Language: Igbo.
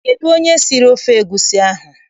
Kedụ onye siri ofe egusi ahụ?